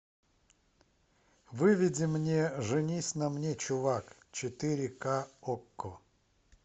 выведи мне женись на мне чувак четыре к окко